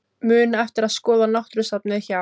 Muna eftir að skoða náttúrusafnið hjá